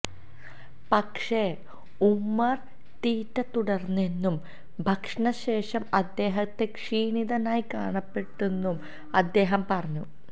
പക്ഷേ ഉമർ തീറ്റ തുടർന്നെന്നും ഭക്ഷണ ശേഷം അദ്ദേഹത്തെ ക്ഷീണിതനായി കാണപ്പെട്ടെന്നും അദ്ദേഹം പറഞ്ഞു